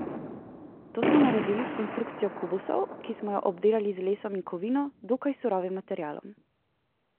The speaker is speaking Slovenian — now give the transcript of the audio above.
To smo naredili s konstrukcijo kubusov, ki smo jo obdelali z lesom in kovino, dokaj surovim materialom.